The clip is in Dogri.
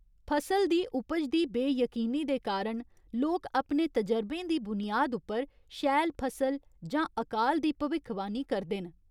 फसल दी उपज दी बेयकीनी दे कारण लोक अपने तजरबें दी बुनियाद उप्पर शैल फसल जां अकाल दी भविक्खवाणी करदे न।